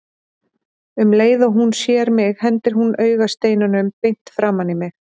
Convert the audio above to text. Um leið og hún sér mig hendir hún augasteinunum beint framan í mig.